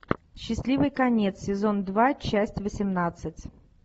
счастливый конец сезон два часть восемнадцать